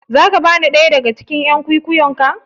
Za ka bani ɗaya daga cikin "yan kwikwiyon ka?